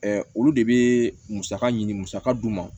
olu de bɛ musaka ɲini musaka d'u ma